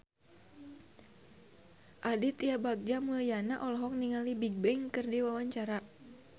Aditya Bagja Mulyana olohok ningali Bigbang keur diwawancara